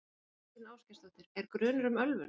Þóra Kristín Ásgeirsdóttir: Er grunur um ölvun?